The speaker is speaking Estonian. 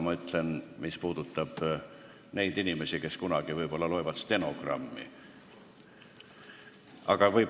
Ma ütlen seda nende inimeste jaoks, kes kunagi võib-olla stenogrammi loevad.